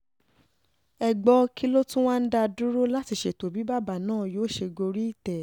ẹ gbọ́ kí ló tún wá ń dá a dúró láti ṣètò bí bàbá náà yóò ṣe gorí ìtẹ́